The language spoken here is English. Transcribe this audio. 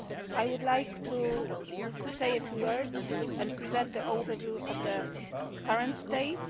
I would like to say a few words and present the overview of the current state.